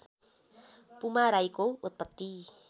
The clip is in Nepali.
पुमा राईको उत्पत्ति